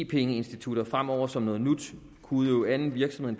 penge institutter fremover som noget nyt kunne udøve anden virksomhed